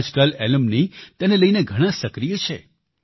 આજકાલ એલ્યુમની તેને લઈને ઘણાં સક્રિય છે